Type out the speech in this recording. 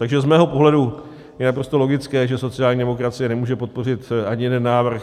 Takže z mého pohledu je naprosto logické, že sociální demokracie nemůže podpořit ani jeden návrh.